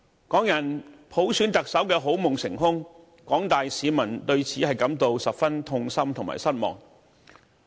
港人普選特首的好夢成空，廣大市民對此感到十分痛心和失望。